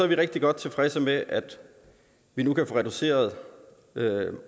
vi rigtig godt tilfredse med at vi nu kan få reduceret